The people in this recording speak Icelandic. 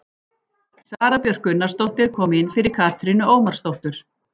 Sara Björk Gunnarsdóttir kom inn fyrir Katrínu Ómarsdóttur.